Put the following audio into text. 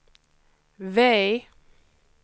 V